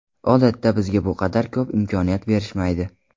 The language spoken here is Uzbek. Odatda bizga bu qadar ko‘p imkoniyat berishmaydi”.